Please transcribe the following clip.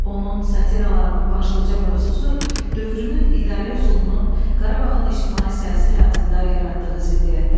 Onun satilalarının başlıca mövzusu dövrünün idarə üsulunun, Qarabağın ictimai-siyasi həyatında yaratdığı ziddiyyətlərdir.